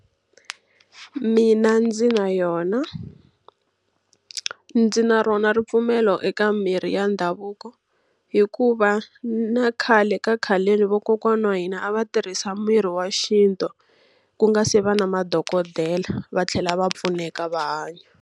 Mina ndzi na yona. Ndzi na rona ripfumelo eka mirhi ya ndhavuko. Hikuva na khale ka khaleni vakokwana wa hina a va tirhisa mirhi wa xintu, ku nga se va na madokodela va tlhela va pfuneka va hanya.